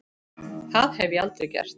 Það hef ég aldrei gert.